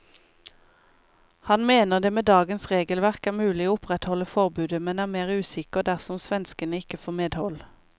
Han mener det med dagens regelverk er mulig å opprettholde forbudet, men er mer usikker dersom svenskene ikke får medhold.